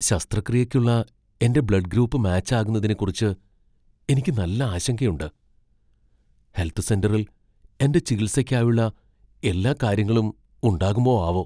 ശസ്ത്രക്രിയയ്ക്കുള്ള എന്റെ blood group match ആകുന്നതിനെക്കുറിച്ച് എനിക്ക് നല്ല ആശങ്കയുണ്ട് ഹെൽത്ത് സെന്ററിൽ എന്റെ ചികിത്സയ്ക്കായുള്ള എല്ലാ കാര്യങ്ങളും ഉണ്ടാകുമോ ആവോ ?